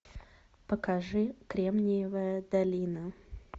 покажи кремниевая долина